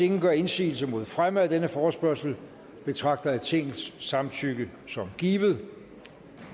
ingen gør indsigelse mod fremme af denne forespørgsel betragter jeg tingets samtykke som givet